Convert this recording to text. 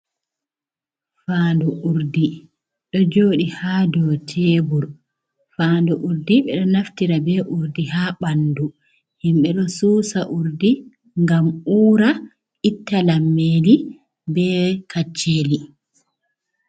Fandu urdi do joɗi ha dou tebur. Fandu urdi ɓeɗo naftira be urdi ha ɓandu himɓe. Ɗo susa urdi ngam ura itta lammeli be kacceli.